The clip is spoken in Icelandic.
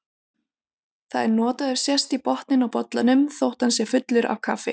Það er notað ef sést í botninn á bollanum þótt hann sé fullur af kaffi.